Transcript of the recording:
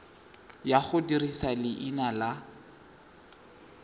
ya go dirisa leina la